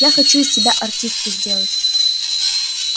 я хочу из тебя артистку сделать